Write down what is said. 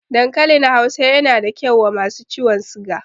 Dankalin Hausa yana da kyau wa masu ciwon siga